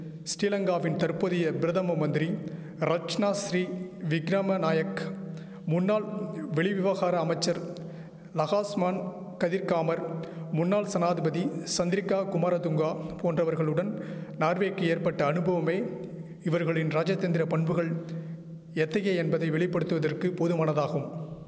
ஸ்ரீலங்காவின் தற்போதைய பிரதம மந்திரி ரட்ச்சணாசிறி விக்கிரமநாயக் முன்னாள் வெளிவிவகார அமைச்சர் லகாஸ்சுமான் கதிர்காமர் முன்னாள் சனாதிபதி சந்திரிகா குமாரதுங்கா போன்றவர்களுடன் நார்வேக்கி ஏற்பட்ட அனுபவமே இவர்களின் ராஜதந்திர பண்புகள் எத்தகைய என்பதை வெளிப்படுத்துவதற்கு போதுமானதாகும்